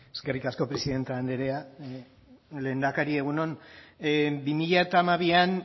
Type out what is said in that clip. eskerrik asko presidente andrea lehendakari egun on bi mila hamabian